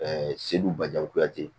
Ɛɛ segu bakuyati